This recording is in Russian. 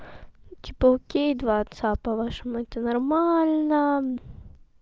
типа окей два отца по-вашему это нормально